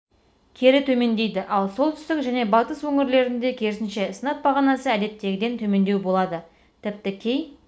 кері төмендейді ал солтүстік және батыс өңірлерде керісінше сынап бағанасы әдеттегіден төмендеу болады тіпті кей